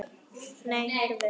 Nei, heyrðu!